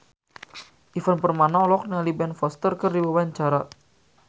Ivan Permana olohok ningali Ben Foster keur diwawancara